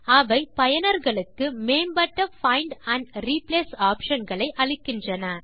அவை பயனர்களுக்கு மேம்பட்ட பைண்ட் ஆண்ட் ரிப்ளேஸ் ஆப்ஷன் களை அளிக்கின்றன